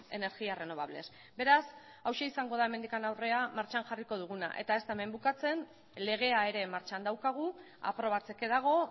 energías renovables beraz hauxe izango da hemendik aurrera martxan jarriko duguna eta ez da hemen bukatzen legea ere martxan daukagu aprobatzeke dago